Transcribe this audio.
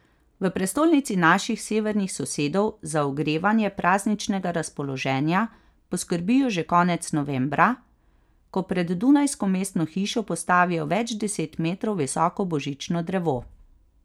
V prestolnici naših severnih sosedov za ogrevanje prazničnega razpoloženja poskrbijo že konec novembra, ko pred dunajsko mestno hišo postavijo več deset metrov visoko božično drevo.